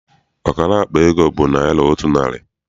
Ọkara akpa ego bụ naịra otu narị.